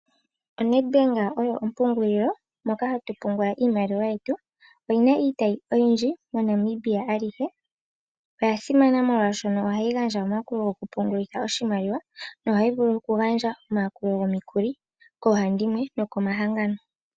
Nedbank oyo ompungulilo moka hatu pungula iimaliwa yetu oyina iitayi oyindji mo Namibia alihe. Oyasimana molwaashono ohayi vulu oku pungulitha oshimaliwa nohayi vulu oku gandja omayakulo gomikuli koohandimwe noko mahangano.